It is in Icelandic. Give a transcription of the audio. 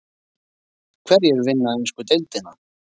Hverjir vinna ensku deildina?